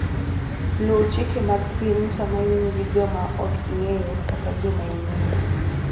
Luw chike mag pinyu sama iwuoyo gi joma ok ing'eyo kata joma ing'eyo.